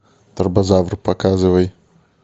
тарбозавр показывай